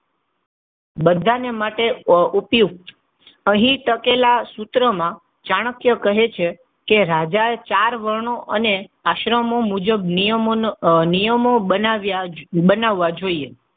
બધાને માટે ઉપયુકત અહી લખેલા સૂત્રમાં ચાણક્ય કહે છે કે રાજા ચાર વર્ણો અને આશ્રમો મુજબ નિયમોનો, નિયમો જ નિયમો બનાવવા જોઈએ.